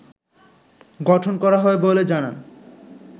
গঠন করা হয় বলে জানান